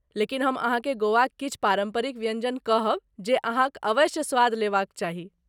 लेकिन हम अहाँकेँ गोवाक किछु पारम्परिक व्यञ्जन कहब जे अहाँक अवश्य स्वाद लेबा क चाही।